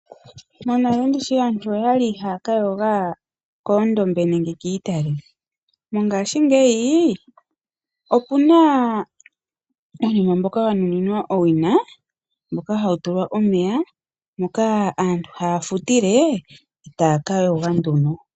Monale ndishi aantu oyali haya kayooga koondombe nenge kiitale, mongashingeyi opuna uunima mboka wa nuninwa owina mboka hawu tulwa omeya moka aantu haya futile etaya ka yooga nduno.